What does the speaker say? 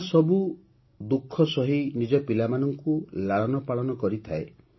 ମା' ସବୁ ଦୁଃଖ ସହି ନିଜ ପିଲାମାନଙ୍କୁ ଲାଳନ ପାଳନ କରିଥାଏ